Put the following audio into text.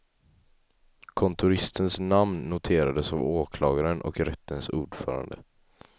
Kontoristens namn noterades av åklagaren och rättens ordförande.